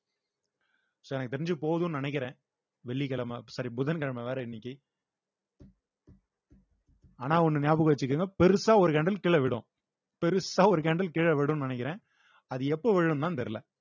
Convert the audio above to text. so எனக்கு தெரிஞ்சு போதும்னு நினைக்கிறேன் வெள்ளிக்கிழமை sorry புதன்கிழமை வேற இன்னைக்கு ஆனா ஒன்னு ஞாபகம் வச்சுக்கோங்க பெருசா ஒரு கீழே விழும் பெருசா ஒரு கீழே விடும்ன்னு நினைக்கிறேன் அது எப்ப விழும்தான் தெரியலே